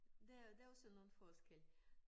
Der er der også nogle forskelle